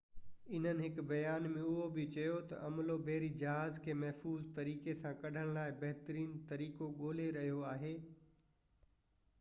انهن هڪ بيان ۾ اهو بہ چيو تہ عملو بحري جهاز کي محفوظ طريقي سان ڪڍڻ لاءِ بهترين طريقو ڳولي رهيو آهي